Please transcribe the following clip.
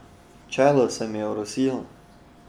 Čelo se mi je orosilo.